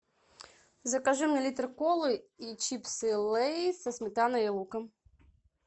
закажи мне литр колы и чипсы лейс со сметаной и луком